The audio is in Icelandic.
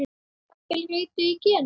Jafnvel rituð í genin?